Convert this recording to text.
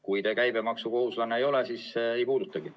Kui te käibemaksukohustuslane ei ole, siis ei puudutagi.